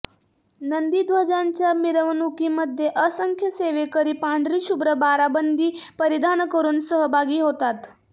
नंदीध्वजांच्या मिरवणुकीमध्ये असंख्य सेवेकरी पांढरी शुभ्र बाराबंदी परिधान करून सहभागी होतात